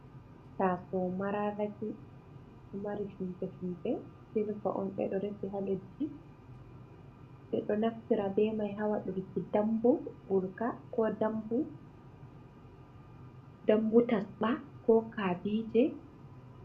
Taso mararati mari silver on, ɓeɗo resi ha laddi ɓe ɗo naftira ɓe mai ha wadurki dambu gurka, ko dambu tasɓa, ko kabije.